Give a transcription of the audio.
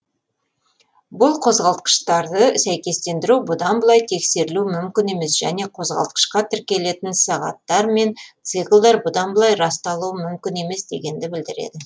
бұл қозғалтқыштарды сәйкестендіру бұдан былай тексерілуі мүмкін емес және қозғалтқышқа тіркелетін сағаттар мен циклдар бұдан былай расталуы мүмкін емес дегенді білдіреді